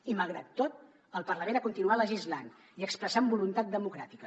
i malgrat tot el parlament ha continuat legislant i expressant voluntat democràtica